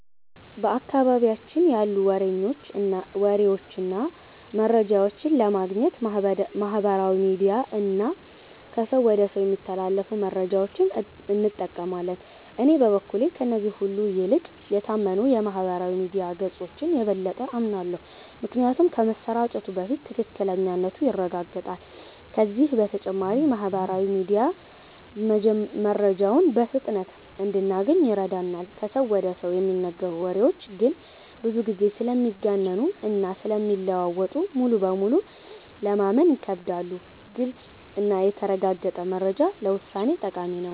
በአካባቢያችን ያሉ ወሬዎችን እና መረጃዎችን ለማግኘት ማህበራዊ ሚዲያ እና ከሰው ወደ ሰው የሚተላለፉ መረጃዎችን እንጠቀማለን። እኔ በበኩሌ ከእነዚህ ሁሉ ይልቅ የታመኑ የማህበራዊ ሚዲያ ገጾችን የበለጠ አምናለሁ። ምክንያቱም ከመሰራጨቱ በፊት ትክክለኛነቱ ይረጋገጣል፤ ከዚህ በተጨማሪም ማህበራዊ ሚዲያ መረጃውን በፍጥነት እንድናገኝ ይረዳናል። ከሰው ወደ ሰው የሚነገሩ ወሬዎች ግን ብዙ ጊዜ ስለሚጋነኑ እና ስለሚለዋወጡ ሙሉ በሙሉ ለማመን ይከብዳሉ። ግልጽ እና የተረጋገጠ መረጃ ለውሳኔ ጠቃሚ ነው።